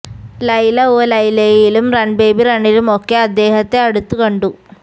ലൈല ഓ ലൈലയിലും run baby റണ്ണിലുമൊക്കെ അദ്ദേഹത്തെ അടുത്തു കണ്ടു